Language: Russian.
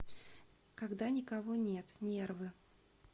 когда никого нет нервы